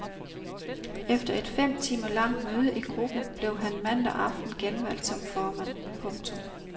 Efter et fem timer langt møde i gruppen blev han mandag aften genvalgt som formand. punktum